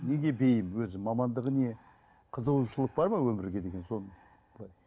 неге бейім өзі мамандығы не қызығушылық бар ма өмірге деген сол былай